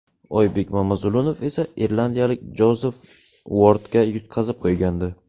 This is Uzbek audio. Oybek Mamazulunov esa irlandiyalik Jozef Uordga yutqazib qo‘ygandi.